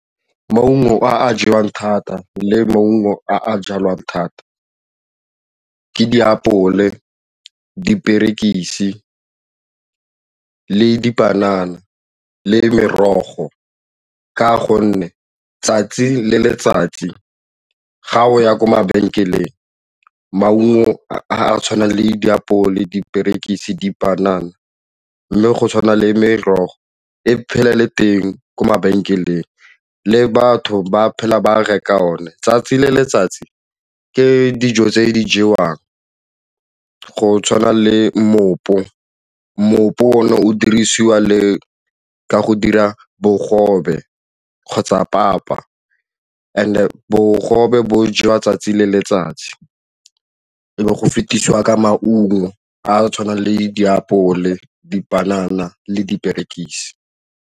Maungo a a jewang thata le maungo a a jalwang thata ke diapole, diperekisi le dipanana le merogo ka gonne 'tsatsi le letsatsi ga o ya ko mabenkeleng maungo a tshwana le diapole diperekisi dipanana le go tshwana le merogo e phele le teng ko mabenkeleng le batho ba phela ba reka one 'tsatsi le letsatsi ke dijo tse di jewang go tshwana le mme mmopu o ne o dirisiwa le ka go dira bogobe kgotsa papa and bogobe bo jewa 'tsatsi le letsatsi e be go fetisiwa ka maungo a a tshwanang le ditapole, dipanana le diperekisi.